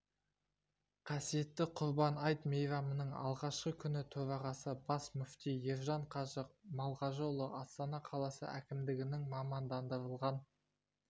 қасиетті құрбан айт мейрамының алғашқы күні төрағасы бас мүфти ержан қажы малғажыұлы астана қаласы әкімдігінің мамандандырылған